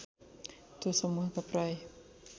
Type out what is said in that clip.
त्यो समुहका प्राय